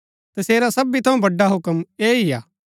तसेरा सबी थऊँ बड़ा हुक्म ऐह ही हा